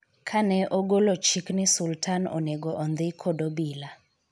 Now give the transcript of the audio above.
kane ogolo chik ni Sultan onego ondhi kod obila